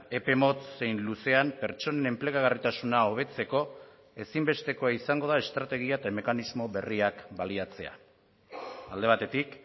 epe motz zein luzean pertsonen enplegagarritasuna hobetzeko ezinbestekoa izango da estrategia eta mekanismo berriak baliatzea alde batetik